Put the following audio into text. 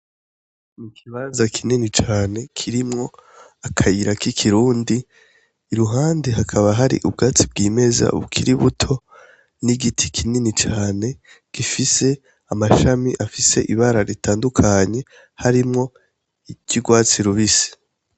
N'ikibanza kinini cane, kirimwo akayira ki kirundi, iruhande hakaba hari ubwatsi bwimeza bukiri buto, n'igiti kinini cane gifise amashami afise amabara atandukanye, harimwo iry'ugwatsi rubisi.